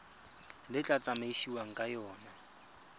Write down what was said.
le tla tsamaisiwang ka yona